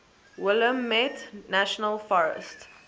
willamette national forest